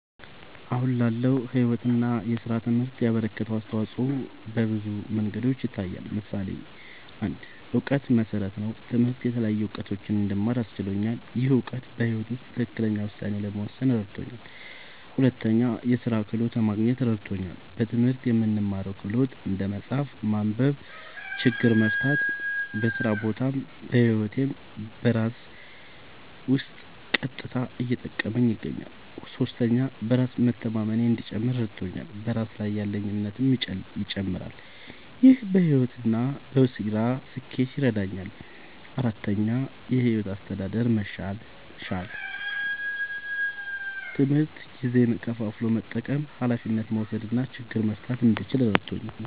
አሁን ላለው ሕይወት እና ሥራ ትምህርት ያበረከተው አስተዋጾ በብዙ መንገዶች ይታያል። ምሳሌ ፩, የእውቀት መሠረት ነዉ። ትምህርት የተለያዩ እዉቀቶችን እንድማር አስችሎኛል። ይህ እውቀት በሕይወት ውስጥ ትክክለኛ ውሳኔ ለመወሰን እረድቶኛል። ፪, የሥራ ክህሎት ለማግኘት እረድቶኛል። በትምህርት የምንማረው ክህሎት (እንደ መጻፍ፣ ማንበብ፣ ችግር መፍታ) በስራ ቦታም በህይወቴም ዉስጥ በቀጥታ እየጠቀመኝ ይገኛል። ፫. በራስ መተማመኔ እንዲጨምር እረድቶኛል። በራስ ላይ ያለኝ እምነትም ይጨምራል። ይህ በሕይወት እና በሥራ ስኬት ይረዳኛል። ፬,. የሕይወት አስተዳደር መሻሻል፦ ትምህርት ጊዜን ከፋፍሎ መጠቀም፣ ኃላፊነት መውሰድ እና ችግር መፍታት እንድችል እረድቶኛል።